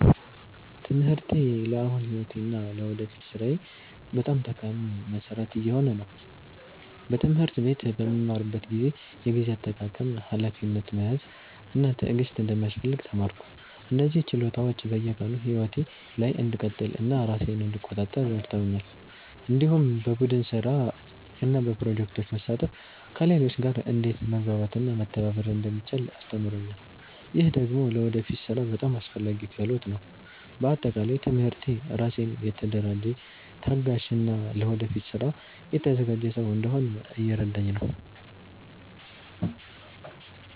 ትምህርቴ ለአሁኑ ሕይወቴ እና ለወደፊት ሥራዬ በጣም ጠቃሚ መሠረት እየሆነ ነው። በትምህርት ቤት በምማርበት ጊዜ የጊዜ አጠቃቀም፣ ሀላፊነት መያዝ እና ትዕግስት እንደሚያስፈልግ ተማርኩ። እነዚህ ችሎታዎች በየቀኑ ሕይወቴ ላይ እንድቀጥል እና ራሴን እንድቆጣጠር ረድተውኛል። እንዲሁም በቡድን ስራ እና በፕሮጀክቶች መሳተፍ ከሌሎች ጋር እንዴት መግባባት እና መተባበር እንደሚቻል አስተምሮኛል። ይህ ደግሞ ለወደፊት ሥራ በጣም አስፈላጊ ክህሎት ነው። በአጠቃላይ ትምህርቴ ራሴን የተደራጀ፣ ታጋሽ እና ለወደፊት ስራ የተዘጋጀ ሰው እንድሆን እየረዳኝ ነው።